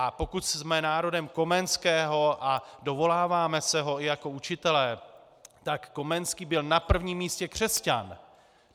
A pokud jsme národem Komenského a dovoláváme se ho i jako učitele, tak Komenský byl na prvním místě křesťan.